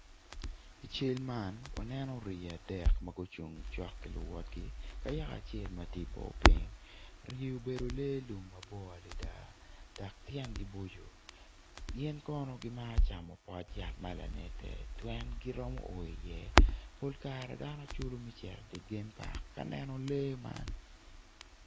I cal man waneno rii adek ma gucung cok ki luwotgi ka yaka acel ma tye i bor piny rii obedo lee lum ma bor adada dok tyengi boco gin kono gimaro camo pot yat ma lanedde pien giromo o iye pol kare dano culo me cito idye game park ka neno lee man.